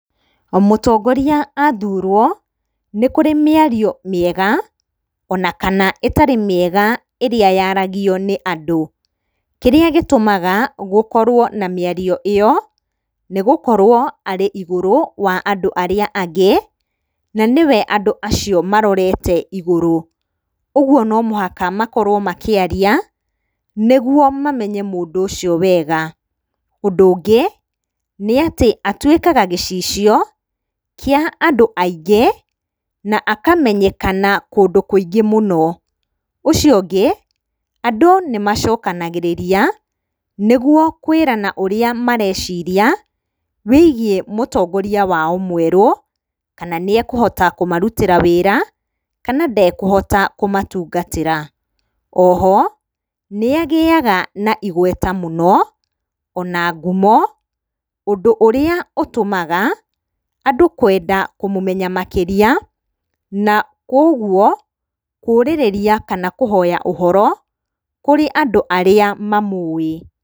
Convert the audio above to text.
Mũtongoria athurwo nĩ kũrĩ mĩario mĩega ona kana ĩtarĩ mĩega ĩrĩa yaragio nĩ andũ. Kĩrĩa gĩtũmaga gũkorwo na mĩario ĩyo, nĩ gũkorwo arĩ igũrũ wa andũ arĩa angĩ na nĩwe andũ acio marorete igũrũ. Ũguo no mũhaka makorwo makĩaria, nĩguo mamenye mũndũ ũcio wega. Ũndũ ũngĩ, nĩ atĩ atuĩkaga gĩcicio kĩa andũ aingĩ na akamenyekana kũndũ kũingĩ mũno. Ũcio ũngĩ, andũ nĩmacokanagĩrĩria nĩguo kwĩrana ũrĩa mareciria wĩgiĩ mũtongoria wao mwerũ, kana nĩ ekũhota kũmarutĩra wĩra, kana ndakũhota kũmatungatĩra. O ho nĩagĩyaga na igweta mũno ona ngumo ũndũ ũrĩa ũtũmaga andũ kwenda kũmũmenya makĩria, na koguo kũrĩrĩria kana kũhoya ũhoro kũrĩ andũ arĩa mamũwĩ.